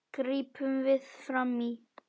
gripum við fram í.